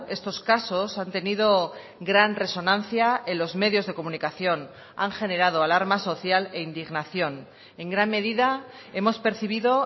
estos casos han tenido gran resonancia en los medios de comunicación han generado alarma social e indignación en gran medida hemos percibido